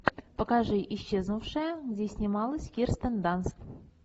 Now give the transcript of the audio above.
покажи исчезнувшая где снималась кирстен данст